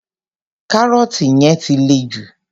Carrot yẹn ti le jù.